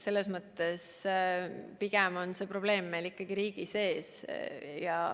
Selles mõttes on meil probleem ikkagi riigi sees.